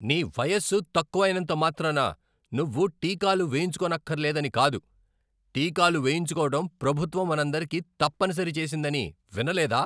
నీ వయస్సు తక్కువైనంత మాత్రాన నువ్వు టీకాలు వేయించుకోనక్కరలేదని కాదు. టీకాలు వేయించుకోవడం ప్రభుత్వం మనందరికీ తప్పనిసరి చేసిందని వినలేదా?